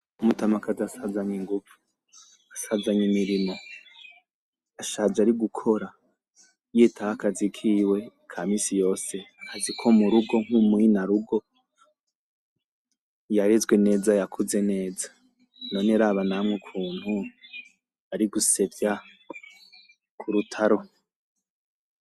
Umutamakazi asazanye ingumvu, asazanye imirimo, ashaje ari gukora, yitaho akazi kiwe ka misi yose, akazi ko mu rugo nk'umu inarugo yarezwe neza; yakuze neza, none raba namwe ukuntu ari gusevya ku rutaro.